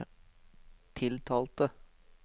tiltalte